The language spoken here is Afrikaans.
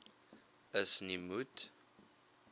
is nie moet